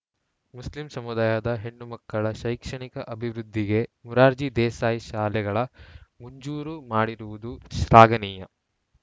Muslim ಸಮುದಾಯದ ಹೆಣ್ಣು ಮಕ್ಕಳ ಶೈಕ್ಷಣಿಕ ಅಭಿವೃದ್ಧಿಗೆ ಮುರಾರ್ಜಿ ದೇಸಾಯಿ ಶಾಲೆಗಳ ಮುಂಜೂರು ಮಾಡಿರುವುದು ಶ್ಲಾಘನೀಯ